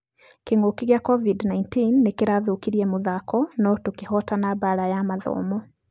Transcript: Kĩng'uki gĩa covid-19 nĩkĩrathũkirie mũthako nũ tũkĩhotana bara ya mathomo